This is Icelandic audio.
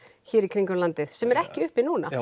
hér í kringum landið sem er ekki uppi núna já